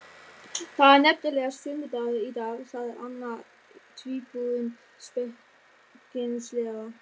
Það er nefnilega sunnudagur í dag sagði annar tvíburinn spekingslega.